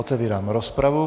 Otevírám rozpravu.